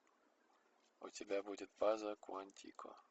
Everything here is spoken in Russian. у тебя будет база куантико